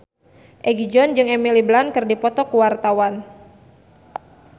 Egi John jeung Emily Blunt keur dipoto ku wartawan